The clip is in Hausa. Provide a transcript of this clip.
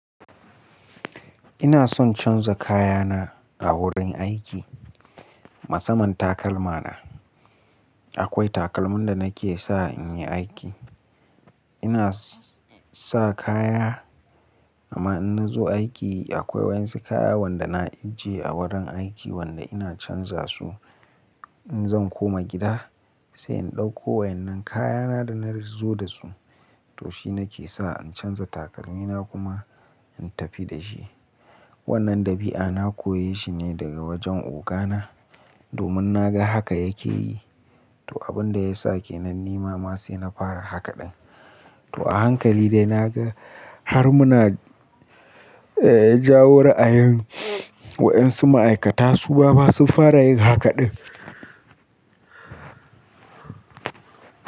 Ina son canza kayana a wurin aiki. Musaman takalma na. Akwai takalman da nake sa in yi aiki. Ina sa kaya, amma in na zo aiki akwai wasu kaya wanda na ajiye a wurin aiki wanda ina canza su. In zan koma gida, sai in ɗauko wa'innan kayana da na zo da su. To shi nake sa in canza takalmina kuma, in tafi da shi. Wannan ɗabi'a na koyi shi ne daga wajen ogana, domin na ga haka yake yi. To, abin da ya sake nan ni ma ma sai na fara haka ɗin. To, a hankali dai na ga har muna, jawar a yi waɗansu ma'aikata su ma ma sun fara yin haka ɗin.